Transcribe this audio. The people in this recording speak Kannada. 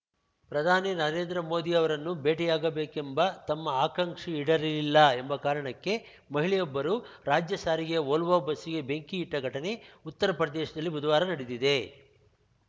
ಪ್ರಧಾನಿ ನರೇಂದ್ರ ಮೋದಿ ಅವರನ್ನು ಭೇಟಿಯಾಗಬೇಕೆಂಬ ತಮ್ಮ ಆಕಾಂಕ್ಷೆ ಈಡೇರಲಿಲ್ಲ ಎಂಬ ಕಾರಣಕ್ಕೆ ಮಹಿಳೆಯೊಬ್ಬರು ರಾಜ್ಯ ಸಾರಿಗೆಯ ವೋಲ್ವೋ ಬಸ್ಸಿಗೆ ಬೆಂಕಿ ಇಟ್ಟಘಟನೆ ಉತ್ತರ ಪ್ರದೇಶದಲ್ಲಿ ಬುಧವಾರ ನಡೆದಿದೆ